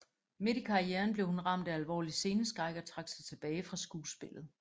Midt i karrieren blev hun ramt af alvorlig sceneskræk og trak sig tilbage fra skuespillet